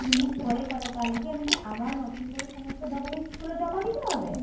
যদি দুদিন পরে করাই তাহলে কি আমি কি আমার নতুন করে সমস্ত documents গুলো জমা দিতে হবে?